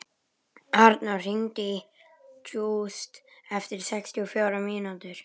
Arnór, hringdu í Júst eftir sextíu og fjórar mínútur.